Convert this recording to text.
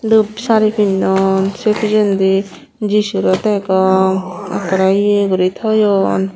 dup sari pinnon sey pijendi jisu re degong ekkore ye guri toyon.